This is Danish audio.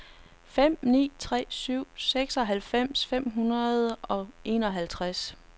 fem ni tre syv seksoghalvfems fem hundrede og enoghalvtreds